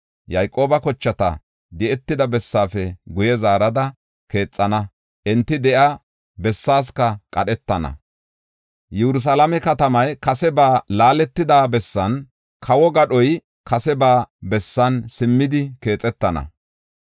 “Yayqooba kochata di7etida bessaafe guye zaarada, keexana; enti de7iya bessaasika qadhetana. Yerusalaame katamay kase ba laaletida bessan, kawo gadhoy kase ba bessan simmidi keexetana.